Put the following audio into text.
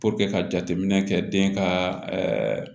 ka jateminɛ kɛ den ka ɛɛ